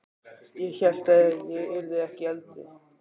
Ég hélt ég yrði ekki eldri!